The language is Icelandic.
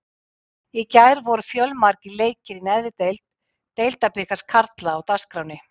Í gær voru fjölmargir leikir í neðri deild Deildabikars karla á dagskránni.